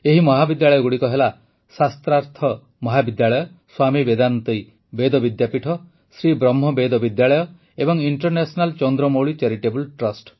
ଏହି ମହାବିଦ୍ୟାଳୟଗୁଡ଼ିକ ହେଲା ଶାସ୍ତ୍ରାର୍ଥ ମହାବିଦ୍ୟାଳୟ ସ୍ୱାମୀ ବେଦାନ୍ତି ବେଦ ବିଦ୍ୟାପୀଠ ଶ୍ରୀ ବ୍ରହ୍ମ ବେଦ ବିଦ୍ୟାଳୟ ଏବଂ ଇଂଟରନ୍ୟାସନାଲ ଚନ୍ଦ୍ରମୌଳୀ ଚାରିଟେବୁଲ ଟ୍ରଷ୍ଟ